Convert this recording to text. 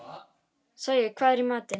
Sæi, hvað er í matinn?